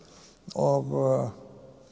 og